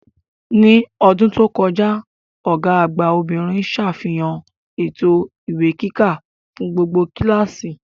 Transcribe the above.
Ní ọdún tó kọjá, Ọ̀gá àgbà obìnrin sàfihàn ètò ìwé kíkà fún gbogbo kíláàsì